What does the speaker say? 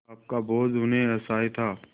पाप का बोझ उन्हें असह्य था